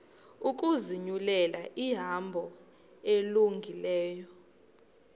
ukuzinyulela ihambo elungileyo